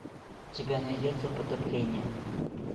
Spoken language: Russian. у тебя найдется потопление